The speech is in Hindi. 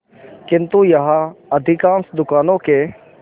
किंतु यहाँ अधिकांश दुकानों के